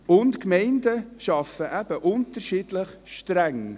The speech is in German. Die Gemeinden arbeiten eben unterschiedlich streng.